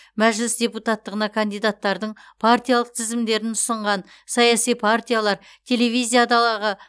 мәжіліс депутаттығына кандидаттардың партиялық тізімдерін ұсынған саяси партиялар телевизиядағы